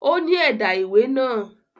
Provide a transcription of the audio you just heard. Ó ní ẹ̀dà ìwé náà